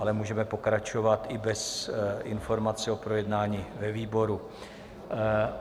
Ale můžeme pokračovat i bez informací o projednání ve výboru.